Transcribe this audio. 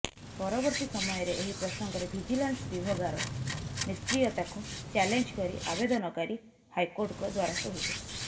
ପରବର୍ତ୍ତୀ ସମୟରେ ଏହି ପ୍ରସଂଗରେ ଭିଜିଲାନ୍ସ ବିଭଗାର ନିଷ୍କ୍ରିୟତାକୁ ଚାଲେଞ୍ଜ କରି ଆବେଦନକାରୀ ହାଇକୋର୍ଟଙ୍କ ଦ୍ୱାରସ୍ଥ ହୋଇଥିଲେ